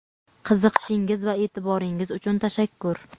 qiziqishingiz va e’tiboringiz uchun tashakkur.